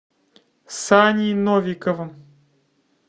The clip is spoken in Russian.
саней новиковым